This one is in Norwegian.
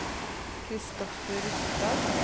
Christoffer Rustad